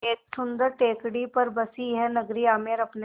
सुन्दर टेकड़ी पर बसी यह नगरी आमेर अपने